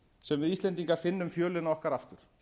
sem við íslendingar finnum fjölina okkar aftur